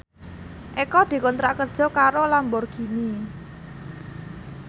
Eko dikontrak kerja karo Lamborghini